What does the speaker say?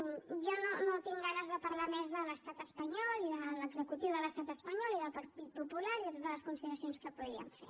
jo no tinc ganes de parlar més de l’estat espanyol i de l’executiu de l’estat espanyol i del partit popular i de totes les consideracions que podríem fer